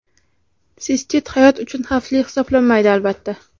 Sistit hayot uchun xavfli hisoblanmaydi, albatta.